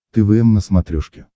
твм на смотрешке